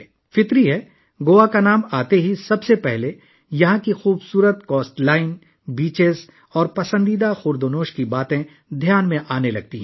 قدرتی طور پر، جیسے ہی گوا کا نام لیا جاتا ہے؛ سب سے پہلے، خوبصورت ساحل، ساحل اور پسندیدہ کھانے کی اشیاء ذہن میں آتے ہیں